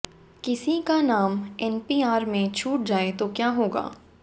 किसी का नाम एनपीआर में छूट जाए तो क्या होगा